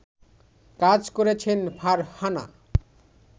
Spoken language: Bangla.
কাজ করছেন ফারহানা